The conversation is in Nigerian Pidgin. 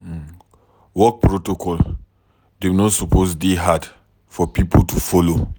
Work protocol dem no suppose dey hard for pipo to folo.